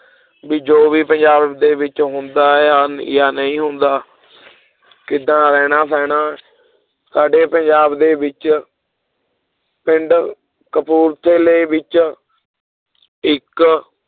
ਵੀ ਜੋ ਵੀ ਪੰਜਾਬ ਦੇ ਵਿੱਚ ਹੁੰਦਾ ਜਾਂ, ਜਾਂ ਨਹੀਂ ਹੁੰਦਾ ਕਿੱਦਾਂ ਰਹਿਣਾ ਸਹਿਣਾ ਸਾਡੇ ਪੰਜਾਬ ਦੇ ਵਿੱਚ ਪਿੰਡ ਕਪੂਰਥਲੇ ਵਿੱਚ ਇੱਕ